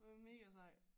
Hun er mega sej